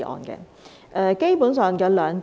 基本上，有兩點。